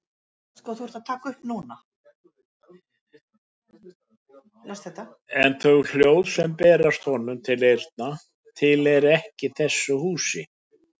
En þau hljóð sem berast honum til eyrna tilheyra ekki þessu húsi.